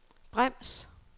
brems